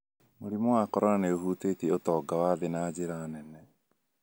Mũrimũ wa corona nĩ ũhũtĩtie ũtonga wa thĩ na njĩra nene.